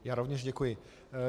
Já rovněž děkuji.